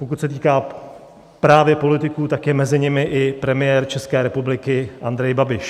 Pokud se týká právě politiků, tak je mezi nimi i premiér České republiky Andrej Babiš.